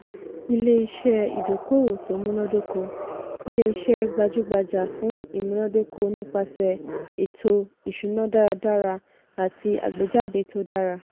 ilé-iṣẹ́ ìdókòwò tó múnádóko - ilé-iṣẹ́ gbajúgbajà fún ìmúnádóko nípasẹ̀ ètò-ìṣúná dáradára àti àgbéjáde tó dára.